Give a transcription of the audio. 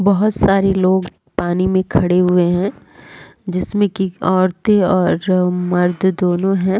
बहोत सारे लोग पानी मे खड़े हुए हैं जिसमे की औरते और मर्द दोनो हैं ।